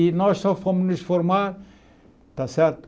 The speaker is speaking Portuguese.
E nós só fomos nos formar, está certo?